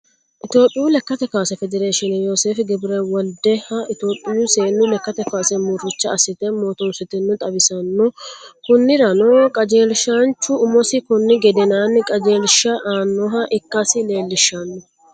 Itoophiyuu lekkate kaase federshine yoosefi gebirewolideha itoophiyuu seenu lekate kaase muricha assite mootonsitinotta xawi'nsooni, konirano qajeelishanchu umosi koni gedenanni qajeelisha aanoha ikkasi leelishano